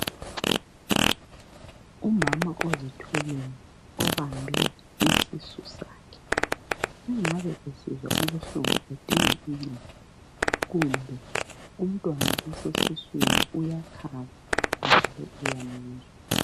Umama ozithweleyo obambe isisu sakhe engabe esizwa ubuhlungu edinga uncedo kumbe umntwana osesiswini uyakhaba lokhu uyamuzwa.